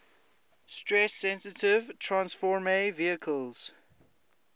stress sensitive transfersome vesicles